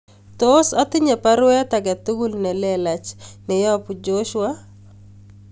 Tos atinye baruet age tugul nelelach neyobu Joshua